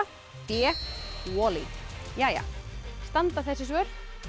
b Wall e standa þessi svör